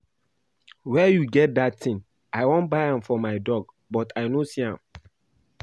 Where you get dat thing? I wan buy am for my dog but I no see am